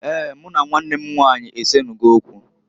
Eeǃ Mụ na nwannw m nwanyị esenugo okwu.